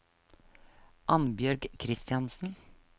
Annbjørg Christiansen